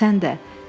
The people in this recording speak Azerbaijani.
Sən də.